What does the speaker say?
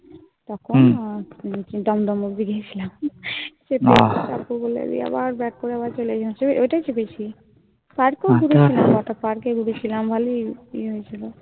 তখন দমদম অব্দি গেছিলাম তারপর বললো দিয়ে আবার করে আবার চলে গেছে. ওটাই চেপেছি. Park ও ঘুরেছি. কটা Park ঢুকেছিলাম ভালই ইয়ে হয়েছিল।